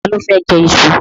Ta ló fẹ́ jẹ iṣu?